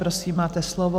Prosím, máte slovo.